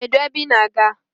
Kedu ebe I na- aga?